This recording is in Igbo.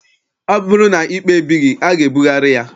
Ọ bụrụ na ikpe ebighị, a ga-ebugharị ya.